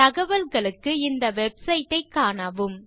தகவல்களுக்கு இந்த வெப்சைட் ஐக் காணவும்